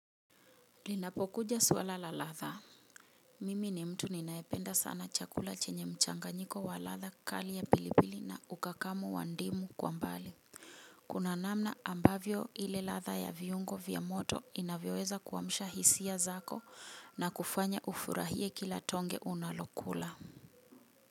Linapokuja swala la ladha Mimi ni mtu ninaependa sana chakula chenye mchanganyiko wa ladha kali ya pilipili na ukakamu wa ndimu kwa mbali. Kuna namna ambavyo ile ladha ya viungo vya moto inavyoweza kuamsha hisia zako na kufanya ufurahie kila tonge unalokula Muzika.